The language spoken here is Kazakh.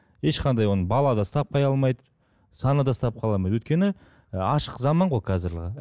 ешқандай оны бала да ұстап қала алмайды санада да ұстап қала алмайды өйткені ашық заман ғой қазіргі